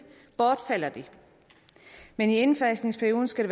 bortfalder de men i indfasningsperioden skal